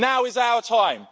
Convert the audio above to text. Now is our time.